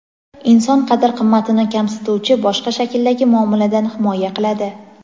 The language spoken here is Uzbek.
inson qadr-qimmatini kamsituvchi boshqa shakldagi muomaladan himoya qiladi.